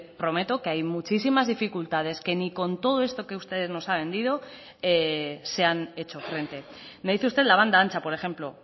prometo que hay muchísimas dificultades que ni con todo esto que usted nos ha vendido se han hecho frente me dice usted la banda ancha por ejemplo